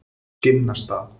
Skinnastað